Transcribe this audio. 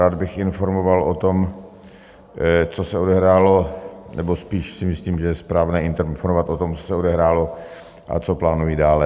Rád bych informoval o tom, co se odehrálo, nebo spíš si myslím, že je správné informovat o tom, co se odehrálo a co plánuji dále.